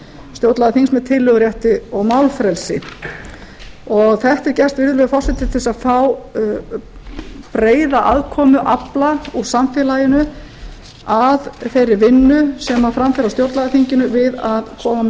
stjórnlagaþings með tillögurétti og málfrelsi þetta er gert virðulegi forseti til að fá breiða aðkomu afla úr samfélaginu að þeirri vinnu sem fram fer á stjórnlagaþinginu við að koma með